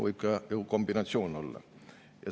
Võib ka kombinatsioon olla.